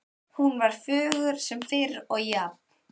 Hún var fögur sem fyrr og jafn